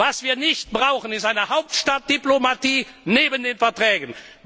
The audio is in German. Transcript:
Was wir nicht brauchen, ist eine Hauptstadtdiplomatie neben den Verträgen.